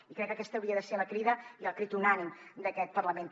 i crec que aquesta hauria de ser la crida i el crit unànime d’aquest parlament també